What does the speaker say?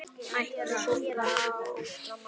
Mætti svo áfram telja.